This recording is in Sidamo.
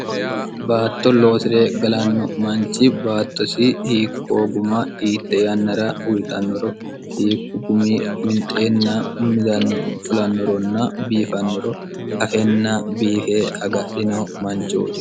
baatto loosire galanno manchi baattosi hiikkoo guma hiitte yannara uyitannoro hiikku gumi winxeenna midanno fulannoronna biifannoro afenna biife agadhino manchooti